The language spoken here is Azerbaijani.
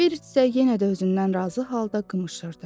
Berit də yenə də özündən razı halda qımışırdı.